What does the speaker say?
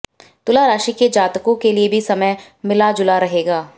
तुला राशि के जातकों के लिए भी समय मिला जुला रहेगा